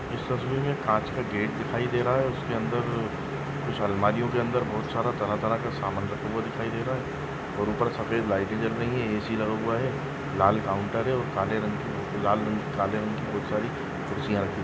S तस्वीर मै कांच का गेट दिखाई दे रहा है उसके अंदर कुछ अलमारी के अंदर बहुत सारा तरह तरह का समान दिखाई दे रहा है और ऊपर सफेद लाइटे जल रही है ऐ_सी लगा हुआ है लाल काउंटर है काले रंग की लाल रंग काले रंग की बहोत सारी खुर्शिया रखी।